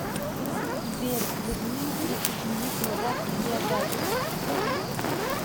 сбер верни на тридцать минут назад видеозапись